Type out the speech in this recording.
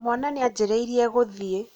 mwana nĩajĩrĩĩrĩe gũthiĩ